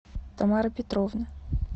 тамара петровна